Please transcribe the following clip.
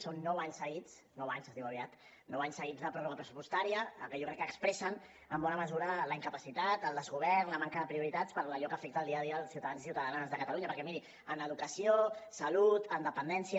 són nou anys seguits nou anys es diu aviat de pròrroga pressupostària que jo crec que expressen en bona mesura la incapacitat el desgovern la manca de prioritats per allò que afecta el dia a dia dels ciutadans i ciutadanes de catalunya perquè miri en educació salut en dependència